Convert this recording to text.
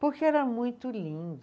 Porque era muito lindo.